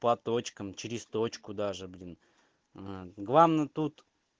по точкам через точку даже блин главное тут